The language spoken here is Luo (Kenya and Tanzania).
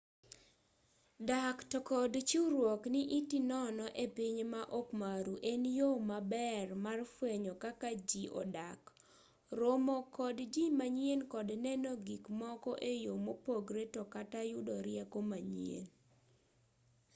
dak to kod chiwruok ni iti nono e piny ma okmaru en yoo maber mar fwenyo kaka ji odak romo kod ji manyien kod neno gikmoko e yoo mopogre to kata yudo rieko manyien